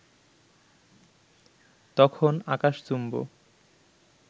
তখন আকাশচুম্ব